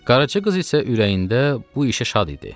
Qaraçı qız isə ürəyində bu işə şad idi.